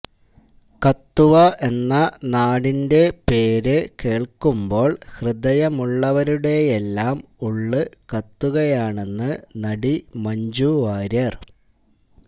കത്തുവ എന്ന നാടിന്റെ പേര് കേൾക്കുമ്പോൾ ഹൃദയമുള്ളവരുടെയെല്ലാം ഉള്ള് കത്തുകയാണെന്ന് നടി മഞ്ജു വാര്യര്